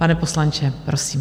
Pane poslanče, prosím.